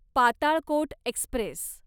Patalkot Express